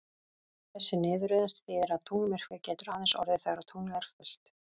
Þessi niðurröðun þýðir að tunglmyrkvi getur aðeins orðið þegar tunglið er fullt.